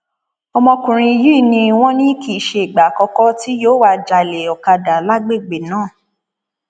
ọmọkùnrin yìí ni wọn ní kì í ṣe ìgbà àkọkọ tí yóò wáá jálẹ ọkadà lágbègbè náà